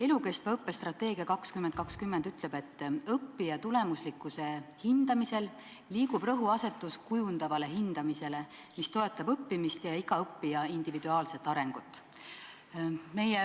"Elukestva õppe strateegia 2020" ütleb, et õppija tulemuslikkuse hindamisel liigub rõhuasetus kujundavale hindamisele, mis toetab õppimist ja iga õppija individuaalset arengut.